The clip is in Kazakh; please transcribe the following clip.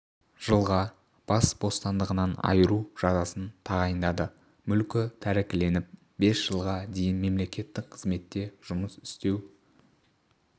жылға бас бостандығынан айыру жазасын тағайындады мүлкі тәркіленіп бес жылға дейін мемлекеттік қызметте жұмыс істеу